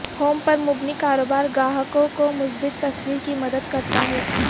home پر مبنی کاروبار گاہکوں کو مثبت تصویر کی مدد کرتا ہے